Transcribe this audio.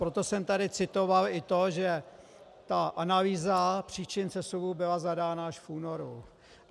Proto jsem tady citoval i to, že ta analýza příčin sesuvu byla zadána až v únoru.